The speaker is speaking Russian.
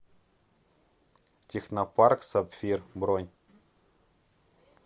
технопарк сапфир бронь